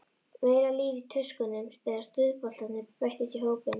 Meira líf í tuskunum þegar stuðboltarnir bættust í hópinn.